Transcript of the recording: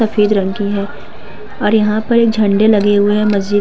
सफेद रंग की है और यहाँ पर झंडे लगे हुए हैं। मस्जिद --